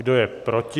Kdo je proti?